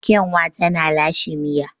Kyanwa tana lashe miya.